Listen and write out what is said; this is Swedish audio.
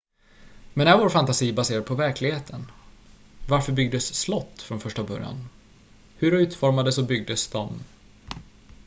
men är vår fantasi baserad på verkligheten varför byggdes slott från första början hur utformades och byggdes de